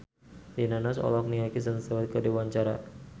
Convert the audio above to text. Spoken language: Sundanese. Rina Nose olohok ningali Kristen Stewart keur diwawancara